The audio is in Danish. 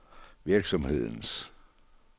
virksomhedens